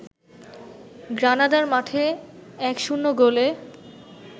গ্রানাদার মাঠে ১-০ গোলে